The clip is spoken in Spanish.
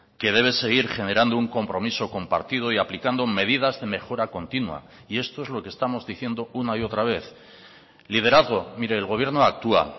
que debe seguir generando un compromiso compartido y aplicando medidas de mejora continua y esto es lo que estamos diciendo una y otra vez liderazgo mire el gobierno actúa